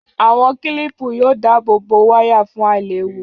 Àwọn kílìpù yóò dáàbò bo wáyà fún àìléwu